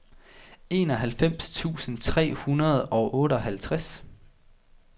enoghalvfems tusind fire hundrede og otteoghalvtreds